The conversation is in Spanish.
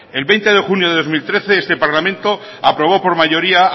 el veinte de junio de dos mil trece este parlamento aprobó por mayoría